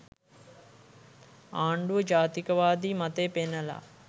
ආණ්ඩුව ජාතිකවාදී මතය පෙන්නල